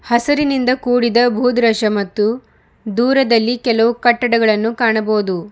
ಹಸಿರಿನಿಂದ ಕೂಡಿದ ಭೂ ದೃಶ್ಯ ಮತ್ತು ದೂರದಲ್ಲಿ ಕೆಲವು ಕಟ್ಟಡಗಳನ್ನು ಕಾಣಬಹುದು.